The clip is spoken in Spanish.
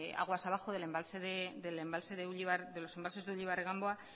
aguas debajo de los embalses de uribarri ganboa